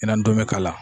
Ɲinan dɔn bɛ k'a la